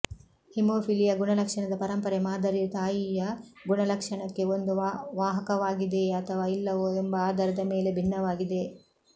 haemophilia ಗುಣಲಕ್ಷಣದ ಪರಂಪರೆ ಮಾದರಿಯು ತಾಯಿಯ ಗುಣಲಕ್ಷಣಕ್ಕೆ ಒಂದು ವಾಹಕವಾಗಿದೆಯೇ ಅಥವಾ ಇಲ್ಲವೋ ಎಂಬ ಆಧಾರದ ಮೇಲೆ ಭಿನ್ನವಾಗಿದೆ